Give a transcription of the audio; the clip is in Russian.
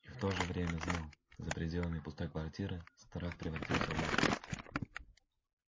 и в то же время знал за пределами пустой квартиры страх превратился в ужас